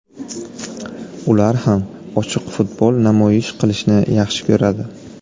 Ular ham ochiq futbol namoyish qilishni yaxshi ko‘radi.